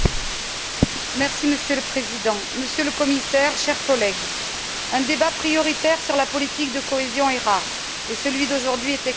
Monsieur le Président, Monsieur le Commissaire, chers collègues, un débat prioritaire sur la politique de cohésion est rare, et celui d'aujourd'hui est extrêmement important.